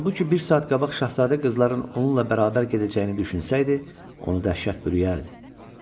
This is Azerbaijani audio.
Halbuki bir saat qabaq şahzadə qızların onunla bərabər gedəcəyini düşünsəydi, onu dəhşət bürüyərdi.